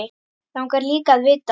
Langar líka að vita.